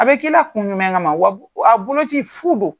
A bɛ k'i la kun jumɛn kama ma wa wa a boloci fu do.